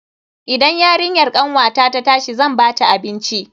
Idan yarinyar kanwata ta tashi zan bata abinci.